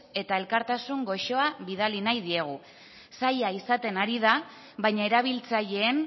eta elkartasun goxoa bidali nahi diegu zaila izaten ari da baina erabiltzaileen